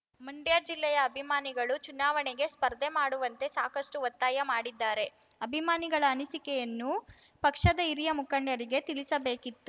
ಮಂಡ್ಯ ಜಿಲ್ಲೆಯ ಅಭಿಮಾನಿಗಳು ಚುನಾವಣೆಗೆ ಸ್ಪರ್ಧೆ ಮಾಡುವಂತೆ ಸಾಕಷ್ಟುಒತ್ತಾಯ ಮಾಡಿದ್ದಾರೆ ಅಭಿಮಾನಿಗಳ ಅನಿಸಿಕೆಯನ್ನು ಪಕ್ಷದ ಹಿರಿಯ ಮುಖಂಡರಿಗೆ ತಿಳಿಸಬೇಕಿತ್ತು